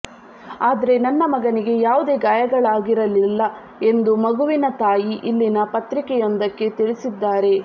ಆದ್ರೆ ನನ್ನ ಮಗನಿಗೆ ಯಾವುದೇ ಗಾಯಗಳಾಗಿರಲಿಲ್ಲ ಎಂದು ಮಗುವಿನ ತಾಯಿ ಇಲ್ಲಿನ ಪತ್ರಿಕೆಯೊಂದಕ್ಕೆ ತಿಳಿಸಿದ್ದಾರೆ